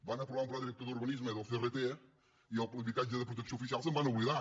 van aprovar un pla director d’urbanisme i del crt i de l’habitatge de protecció oficial se’n van oblidar